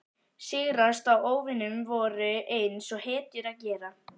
Sigrast á óvinum vorum, eins og hetjur gera.